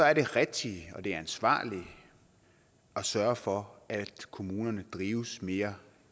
er det rigtige og det ansvarlige at sørge for at kommunerne drives mere